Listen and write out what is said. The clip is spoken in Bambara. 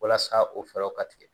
Walasa o fɛɛrɛw ka tigɛ